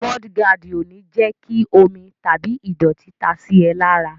Mọ́ọ́dí gaàdì ò ní jẹ́ kí omi tàbí ìdọ̀tí ta sí ẹ lára.